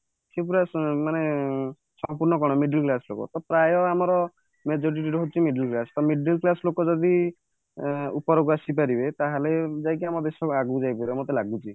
ସେ ପୁରା ମାନେ ସମ୍ପୂର୍ଣ କଣ middle class ଲୋକ ତ ପ୍ରାୟ ଆମର majority ରହୁଛି middle class ତ middle class ଲୋକ ଯଦି ଉପରକୁ ଆସି ପାରିବେ ତାହାଲେ ଯାଇକି ଆମ ଦେଶ ଆଗକୁ ଯାଇ ପାରିବ ମତେ ଲାଗୁଛି